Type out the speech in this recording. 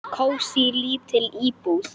Kósí, lítil íbúð.